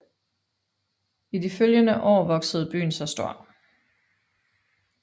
I de følgende år voksede byen sig stor